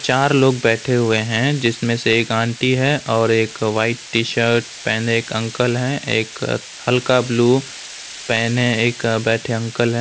तार लोग बैठे हुए हैं जिसमें से एक आंटी हैं और एक वाइट टी शर्ट पहने एक अंकल है एक हल्का ब्लू पहने एक बैठे अंकल हैं।